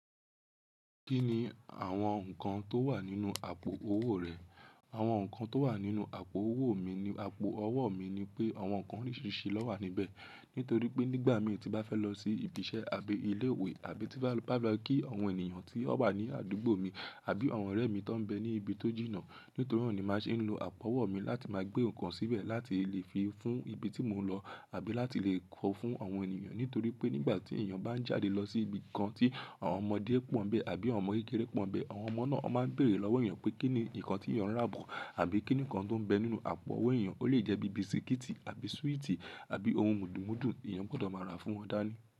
Kí ni àwọn nǹkan tó wà nínú àpò owó rẹ̀? Àwọn nǹkan tó wà nínú àpò owó mi ni àpò ọwọ́ mi ni pé àwọn nǹkan oríṣiríṣi ló wà níbẹ̀. Nítorí pé nígbà mí ti n bá fẹ́ lọ sí ibi iṣẹ́ àbí ilé ìwé, àbí tí bá bá máa kí àwọn ènìyàn tí ó wà ní àdúgbò mi àbí àwọn ọ̀rẹ́ mi tó ń bẹ ní ibi tó jìnnà. Nítorí naa ni màá ṣe ń lo àpò ọwọ́ mi láti máa gbé nǹkan síbẹ̀ láti lè fi fún ibi tí mò ń lọ àbí láti lè kọ fún àwọn ènìyàn. Nítorí pé nígbà tí èèyàn bá ń jáde lọ sí ibi kan tí àwọn ọmọdé pọ́n bẹ́ àbí àwọn ọmọ kékeré pọ́n bẹ́, àwọn ọmọ náà máa ń bèèrè lọ́wọ́ èèyàn pé kí ni nǹkan tí èèyàn rà bọ̀ àbí kí ni kan tó ń bẹ nínú àpò owó èèyàn. Ó lè jẹ́ bí i bisikíìtì àbí súwìtì àbí ohun mùdùmúdù. Èèyàn gbọdọ̀ máa ra fún wọn dání.